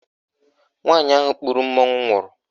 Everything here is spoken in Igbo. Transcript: Nwaanyị ahụ kpuru mmanwụ nwụrụ.